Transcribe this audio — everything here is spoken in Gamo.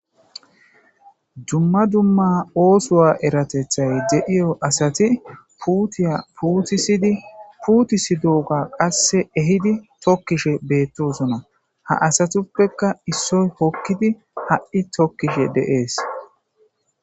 Dumma dumma oththo eeratethay deiiyo asati puuttiya puutisidi puutisidogga qasse ehhidi tookishshe bettosona ha assatuppeka issiy hookidi ha'i tokkishe de'ess.